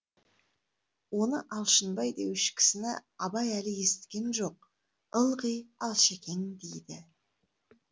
оны алшынбай деуші кісіні абай әлі есіткен жоқ ылғи алшекең дейді